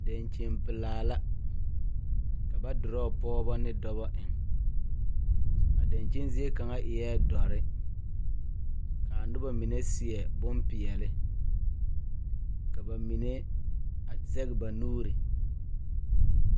Dankyinipelaa la ka ba dorɔɔ pɔgeba ne dɔba eŋ a dankyini zie kaŋ eɛ dɔre k,a noba mine seɛ bondɔre ka ba mine a zɛge ba nuuri.